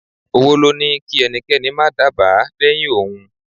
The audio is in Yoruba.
Owó ló ní kí ẹnikẹ́ni má dábàá lẹ́yìn òun.